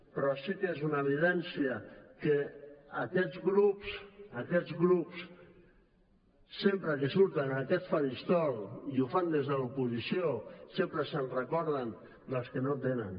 però sí que és una evidència que aquests grups sempre que surten en aquest faristol i ho fan des de l’oposició sempre se’n recorden dels que no en tenen